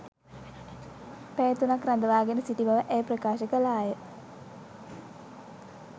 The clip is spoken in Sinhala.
පැය තුනක් රඳවා ගෙන සිටි බව ඇය ප්‍රකාශ කළාය